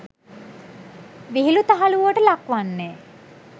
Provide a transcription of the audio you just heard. විහිලු තහලුවට ලක්වන්නේ